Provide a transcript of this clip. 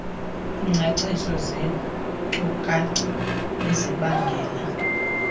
iingcaciso zeenkcukacha ezibangela